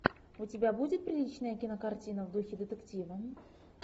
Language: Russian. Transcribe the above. у тебя будет приличная кинокартина в духе детектива